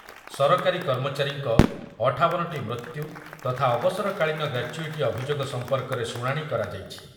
ସରକାରୀ କର୍ମଚାରୀଙ୍କ ଅଠାବନଟି ମୃତ୍ୟୁ ତଥା ଅବସରକାଳୀନ ଗ୍ରାଚ୍ୟୁଇଟି ଅଭିଯୋଗ ସମ୍ପର୍କରେ ଶୁଣାଣି କରାଯାଇଛି।